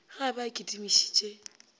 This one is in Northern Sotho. ge a be a kitimišitše